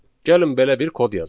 Gəlin belə bir kod yazaq.